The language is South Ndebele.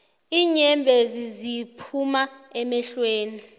iinyembezi ziphuma emehlweni